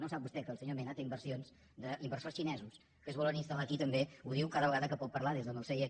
no sap vostè que el senyor mena té inversions d’inversors xinesos que es volen instal·lar aquí també ho diu cada vegada que pot parlar des del seu seient